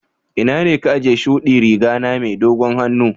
Ina ne ka ajiye shuɗi Riga na mai dogon hannu?